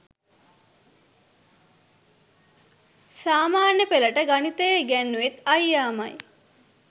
සාමාන්‍ය පෙළට ගණිතය ඉගැන්නුවෙත් අයියාමයි.